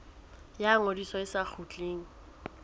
ya ngodiso e sa kgutlisweng